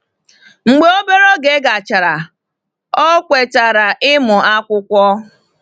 Mgbe obere oge gachara, ọ kwetara ịmụ akwụkwọ.